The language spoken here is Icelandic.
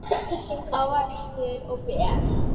ávextir og ber